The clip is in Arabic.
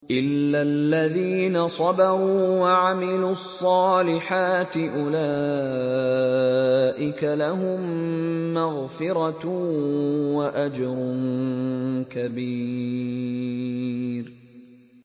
إِلَّا الَّذِينَ صَبَرُوا وَعَمِلُوا الصَّالِحَاتِ أُولَٰئِكَ لَهُم مَّغْفِرَةٌ وَأَجْرٌ كَبِيرٌ